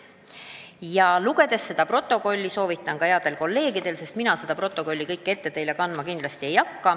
Soovitan selle koosoleku protokolli ka headel kolleegidel lugeda, sest mina seda teile ette kandma ei hakka.